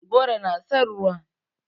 Goro na son ruwa.